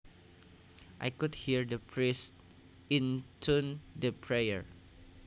I could hear the priest intone the prayer